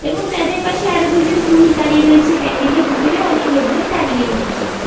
এবং তাদের পাশে আরও দুজন পুরুষ দাড়িয়ে রয়েছে প্যান্ডেল -এর ভিতরে অনেক লোক দাঁড়িয়ে রয়েছে।